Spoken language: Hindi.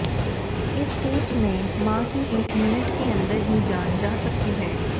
इस केस में मां की एक मिनट के अंदर ही जान जा सकती है